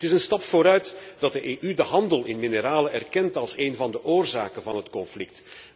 Het is een stap vooruit dat de EU de handel in mineralen erkent als een van de oorzaken van het conflict.